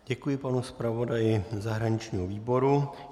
Děkuji panu zpravodaji zahraničního výboru.